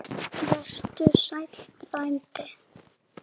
Vertu sæll, frændi.